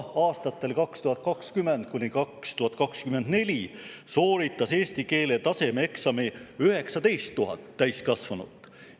Aastatel 2020–2024 sooritas eesti keele tasemeeksami 19 000 täiskasvanut.